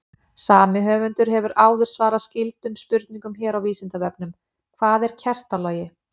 Sami höfundur hefur áður svarað skyldum spurningum hér á Vísindavefnum: Hvað er kertalogi?